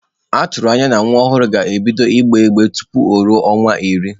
Atụrụ anya na nwa ọhụrụ ga-ebido gbewe igbe tupu o ruo ọnwa iri.